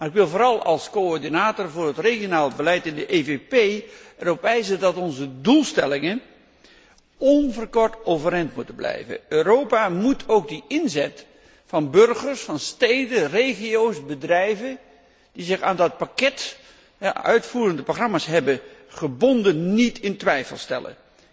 Ik wil vooral als coördinator voor het regionaal beleid in de PPE erop wijzen dat onze doelstellingen onverkort overeind moeten blijven. Europa moet ook de inzet van burgers, steden, regio's en bedrijven die zich aan het pakket uitvoerende programma's hebben verbonden, niet in twijfel trekken.